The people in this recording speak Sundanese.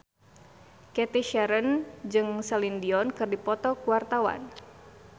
Cathy Sharon jeung Celine Dion keur dipoto ku wartawan